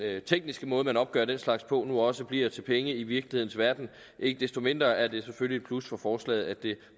tekniske måde man opgør den slags på nu også bliver til penge i virkelighedens verden ikke desto mindre er det selvfølgelig et plus for forslaget at det